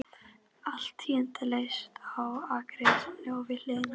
Allt tíðindalaust á akreininni við hliðina.